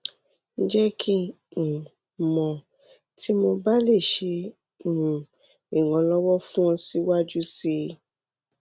jẹ ki n um mọ ti mo ba le ṣe um iranlọwọ fun ọ siwaju sii